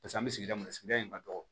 Paseke an bɛ sigida min na sigida in ka dɔgɔ